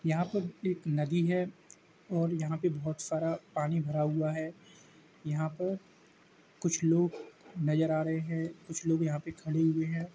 यहाँ पर एक नदी है और यहाँ पे बोहोत सारा पानी भरा हुआ है। यहाँ पर कुछ लोग नज़र आ रहे हैं। कुछ लोग यहाँ पर खड़े हुए हैं।